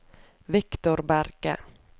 Viktor Berge